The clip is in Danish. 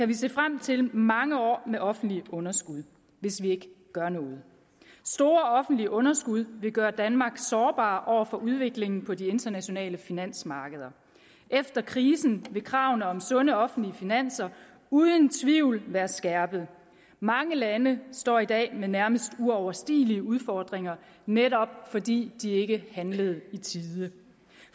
vi se frem til mange år med offentlige underskud hvis vi ikke gør noget store offentlige underskud vil gøre danmark sårbar over for udviklingen på de internationale finansmarkeder efter krisen vil kravene om sunde offentlige finanser uden tvivl være skærpet mange lande står i dag med nærmest uoverstigelige udfordringer netop fordi de ikke handlede i tide